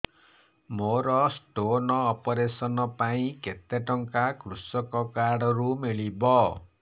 ମୋର stone operation ପାଇଁ କେତେ ଟଙ୍କା କୃଷକ କାର୍ଡ ରୁ ମିଳିବ